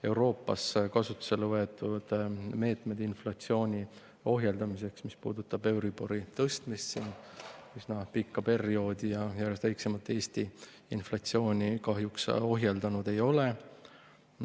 Euroopas kasutusele võetud meetmed inflatsiooni ohjeldamiseks, euribori tõstmine üsna pika perioodi jooksul ja järjest väiksemas ulatuses, Eesti inflatsiooni kahjuks ohjeldanud ei ole.